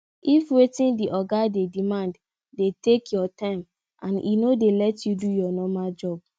if wetin di oga dey demand dey take your time and e no dey let you do your normal job